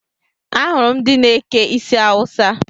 Ahụrụ m ndị na-eke isi Awusa